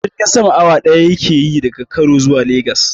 Jirgin sama awa ɗaya yake daga kano zuwa legas.